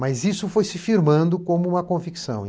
Mas isso foi se firmando como uma convicção.